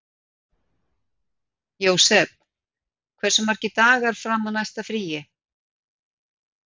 Jósep, hversu margir dagar fram að næsta fríi?